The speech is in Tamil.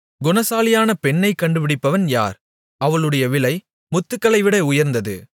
குணசாலியான பெண்ணைக் கண்டுபிடிப்பவன் யார் அவளுடைய விலை முத்துக்களைவிட உயர்ந்தது